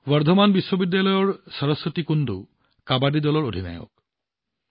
বুৰদ্বান বিশ্ববিদ্যালয়ৰ সৰস্বতী কুণ্ডু তেওঁৰ কাবাডী দলৰ অধিনায়ক